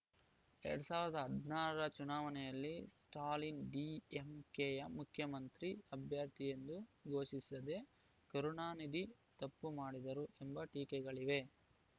ಎರಡ್ ಸಾವಿರದ ಹದಿನಾರರ ಚುನಾವಣೆಯಲ್ಲಿ ಸ್ಟಾಲಿನ್‌ ಡಿಎಂಕೆಯ ಮುಖ್ಯಮಂತ್ರಿ ಅಭ್ಯರ್ಥಿಯೆಂದು ಘೋಷಿಸದೆ ಕರುಣಾನಿಧಿ ತಪ್ಪು ಮಾಡಿದರು ಎಂಬ ಟೀಕೆಗಳಿವೆ